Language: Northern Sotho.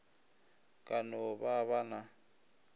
ka no ba ba na